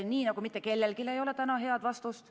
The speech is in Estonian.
Nii nagu mitte kellelgi ei ole täna head vastust.